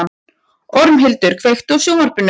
Ormhildur, kveiktu á sjónvarpinu.